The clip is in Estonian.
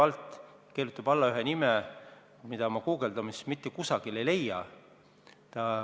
Ta kirjutab alla nime, mida ma guugeldades mitte kusagilt ei leia.